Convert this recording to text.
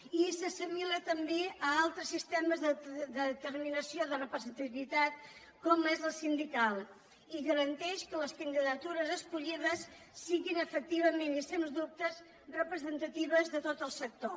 i s’assimila també a altres sistemes d’assimila·ció de representativitat com és la sindical i garanteix que les candidatures escollides siguin efectivament i sens dubte representatives de tot el sector